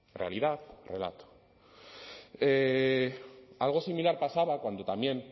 realidad relato algo similar pasaba cuando también